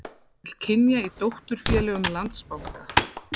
Jöfn hlutföll kynja í dótturfélögum Landsbanka